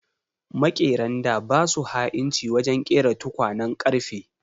Makeran da ba su ha'inci wajen ƙera tukwanen ƙarfe.